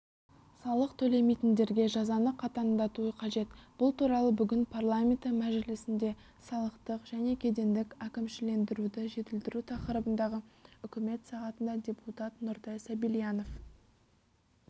салық төлемейтіндерге жазаны қатаңдату қажет бұл туралы бүгін парламенті мәжілісінде салықтық және кедендік әкімшілендіруді жетілдіру тақырыбындағы үкімет сағатында депутат нұртай сабильянов